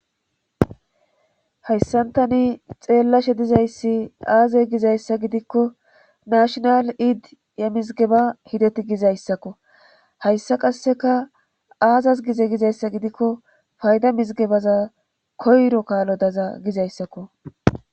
Hayssan tani xeellashe dizayssi aazey gizayssa gidikko nashshonal ayddi yemizigeba hideti gizayssakko hayssa qasseka aazas gize gizayssa gidikko fayda mizgebaza koyro kaalo daza gizayssakko